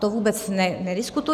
To vůbec nediskutuji.